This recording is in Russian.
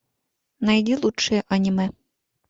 найди лучшие аниме